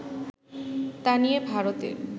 তা নিয়ে ভারতের